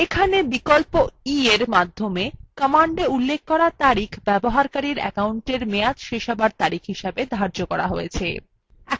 এখানে বিকল্প eএর সাহায্য command উল্লেখ করা তারিখ ব্যবহারকারীর অ্যাকাউন্টের মেয়াদ শেষ হওয়ার তারিখ হিসাবে ধার্য করা হয়েছে